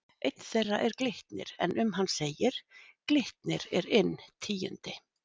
Einn þeirra er Glitnir en um hann segir: Glitnir er inn tíundi,